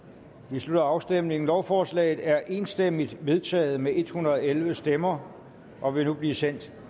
vi slutter afstemningen lovforslaget er enstemmigt vedtaget med en hundrede og elleve stemmer og vil nu blive sendt